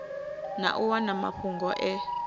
na u wana mafhungo e